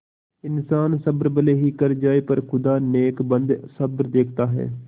इन्सान सब्र भले ही कर जाय पर खुदा नेकबद सब देखता है